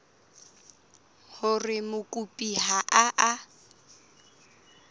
hore mokopi ha a a